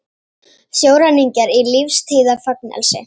Sjóræningjar í lífstíðarfangelsi